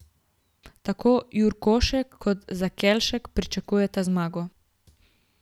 Tako Jurkošek kot Zakelšek pričakujeta zmago.